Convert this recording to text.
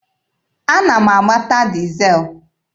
Ana m agbata dizel.